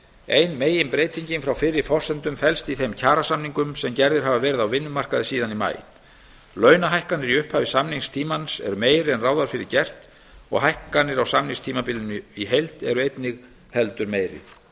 ein meginbreytingin frá fyrri forsendum felst í þeim kjarasamningum sem gerðir hafa verið á vinnumarkaði síðan í maí launahækkanir í upphafi samningstímans eru meiri en ráð var fyrir gert og hækkanir á samningstímabilinu í heild eru einnig heldur